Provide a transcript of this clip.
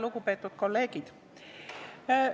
Lugupeetud kolleegid!